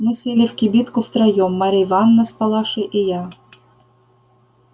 мы сели в кибитку втроём марья ивановна с палашей и я